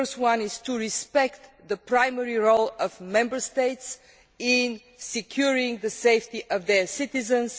The first is to respect the primary role of Member States in securing the safety of their citizens.